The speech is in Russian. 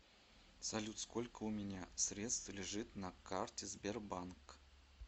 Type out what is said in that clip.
салют сколько у меня средств лежит на карте сбербанк